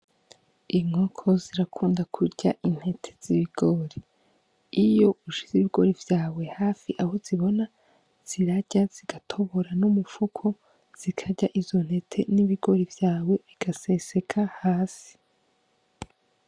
Inkoko zirakunda kurya intete z'ibigori iyo ushize ibigori vyawe hafi aho zibona zirarya zigatobora n'umupfuko zikarya izo ntete n'ibigori vyawe bigaseseka hasi.